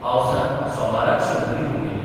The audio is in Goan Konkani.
पावसान सोमाराच शंभरी हुपिल्ली.